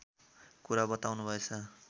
कुरा बताउनुभएछ